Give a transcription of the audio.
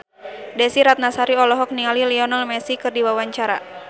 Desy Ratnasari olohok ningali Lionel Messi keur diwawancara